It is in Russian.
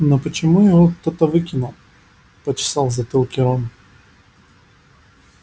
но почему его кто-то выкинул почесал в затылке рон